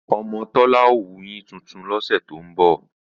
Ọmọ Tọ́lá ó wuyín tuntun lọ́sẹ̀ tó ń bọ̀